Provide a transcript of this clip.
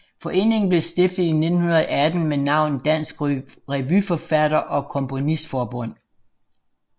Foreningen blev stiftet i 1918 med navnet Dansk Revyforfatter og Komponistforbund